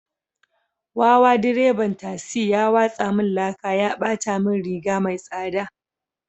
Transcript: Wawa direban tasi ya watsa min laka ya bata min riga mai tsada